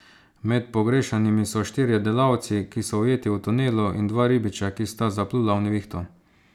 Med pogrešanimi so štirje delavci, ki so ujeti v tunelu, in dva ribiča, ki sta zaplula v nevihto.